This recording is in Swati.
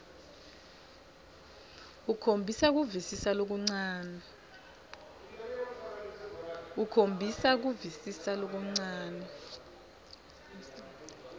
ukhomba kuvisisa lokuncane